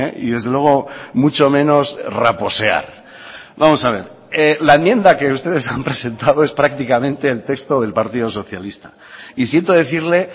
y desde luego mucho menos raposear vamos a ver la enmienda que ustedes han presentado es prácticamente el texto del partido socialista y siento decirle